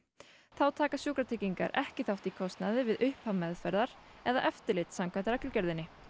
þá taka sjúkratryggingar ekki þátt í kostnaði við upphaf meðferðar eða eftirlit samkvæmt reglugerðinni